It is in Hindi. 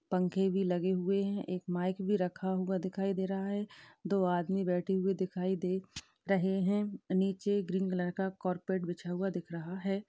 पंखे भी लगे हुए है एक माइक भी रखा हुआ दिखाई दे रहा है दो आदमी बैठे हुए दिखाई दे रहे है नीचे ग्रीन कलर का कॉरपेट बिछा हुआ दिख रहा है।